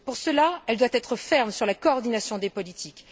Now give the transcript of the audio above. Pour cela, elle doit être ferme sur la coordination des politiques.